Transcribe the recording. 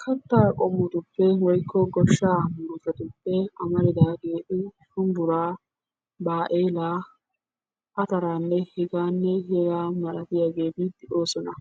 Kattaa qommotuppe woykko goshshaa murutatuppe amaridaageeti shumbburaa, baa'eelaa, ataraanne hegaanne hegaa malatiyageeti de'oosona.